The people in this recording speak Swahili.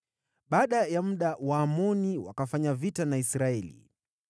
Baada ya muda Waamoni wakafanya vita na Israeli,